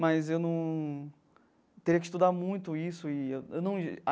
Mas eu num teria que estudar muito isso e eu eu não ia.